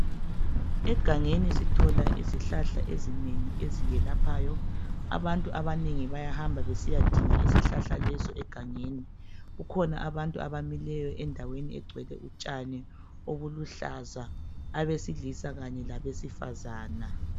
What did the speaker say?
Egangeni sithola izihlahla ezinengi eziyelaphayo , abantu abanengi bayahamba besiya dinga izihlahla lezi egangeni ,kukhona abantu abamileyo endaweni egcwele utshani obuluhlaza, abesilisa Kanye labesifazana